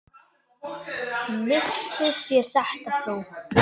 Misstuð þér þetta, frú!